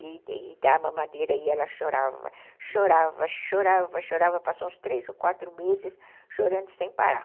E da mamadeira aí ela chorava, chorava, chorava, chorava, passou uns três ou quatro meses chorando sem parar.